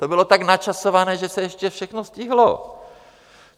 To bylo tak načasované, že se ještě všechno stihlo.